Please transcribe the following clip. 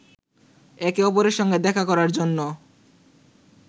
একে অপরের সঙ্গে দেখা করার জন্য